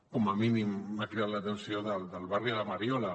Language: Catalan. com a mínim m’ha cridat l’atenció del barri de la mariola